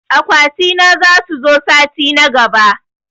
Akwati na zasu zo sati na gaɓa.